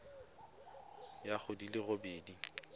ya go di le robedi